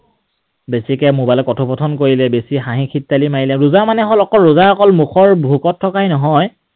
বেছিকৈ mobile ত কথোপকথন কৰিলে, বেছি হাঁহি খিতালি মাৰিলে, ৰোজা মানে হল, ৰোজা অকল মুখৰ ভোকত থকাই নহয়